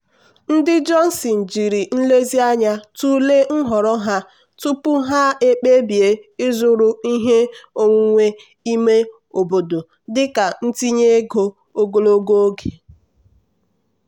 ndị johnson jiri nlezianya tụlee nhọrọ ha tupu ha ekpebie ịzụrụ ihe onwunwe ime obodo dịka ntinye ego ogologo oge.